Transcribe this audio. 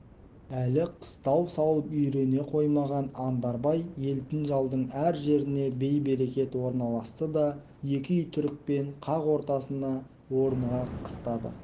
әлі қыстау салып үйрене қоймаған андарбай елтінжалдың әр жеріне бей-берекет орналасты да екі үй түрікпен қақ ортасына орныға қыстады